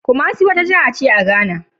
Kumasi wata jiha ce a Ghana.